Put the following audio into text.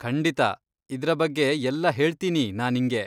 ಖಂಡಿತಾ, ಇದ್ರ ಬಗ್ಗೆ ಎಲ್ಲ ಹೇಳ್ತೀನಿ ನಾ ನಿಂಗೆ.